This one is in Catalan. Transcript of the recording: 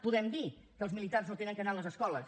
podem dir que els militars no han d’anar a les escoles